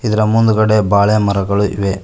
ಇದರ ಮುಂದ್ಗಡೆ ಬಾಳೆ ಮರಗಳು ಇವೆ.